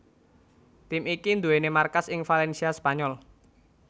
Tim iki nduwèni markas ing Valencia Spanyol